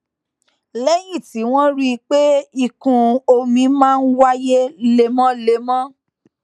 léyìn tí wón rí i pé ìkún omi máa ń wáyé lemólemó